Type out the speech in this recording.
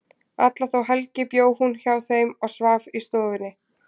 Alla þá helgi bjó hún hjá þeim og svaf í stofunni.